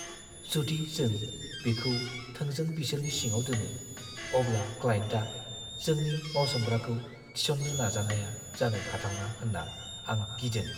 जुदि जों बिखौ थोंजों बिसोरनि सिङाव दोनो, अब्ला क्लायेन्टआ जोंनि मावसोमग्राखौ थिसननो नाजानाया जानो हाथावना होनना आं गिदों।